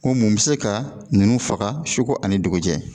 Ko mun bɛ se ka ninnu faga suko ani dugujɛ